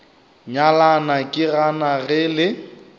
nyalana ke gana ge le